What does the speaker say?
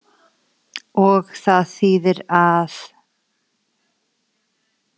Og það þýðir að.